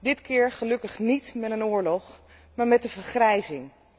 Dit keer gelukkig niet met een oorlog, maar met de vergrijzing.